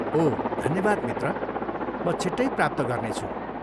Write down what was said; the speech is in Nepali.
ओह धन्यवाद मित्र, म छिट्टै प्राप्त गर्नेछु।